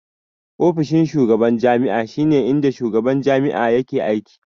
Ofishin shugaban jami'a shi ne inda shugaban jami'a yake aiki